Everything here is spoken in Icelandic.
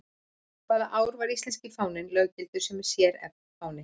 Hvaða ár var íslenski fáninn löggiltur sem sérfáni?